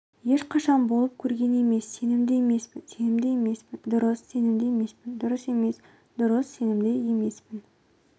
ешқашан болып көрген емес сенімді емеспін сенімді емеспін дұрыс сенімді емеспін дұрыс емес дұрыс сенімді емеспін